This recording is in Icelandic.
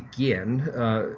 gen